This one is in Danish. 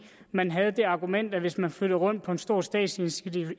man havde det argument at hvis man flyttede rundt på en stor statslig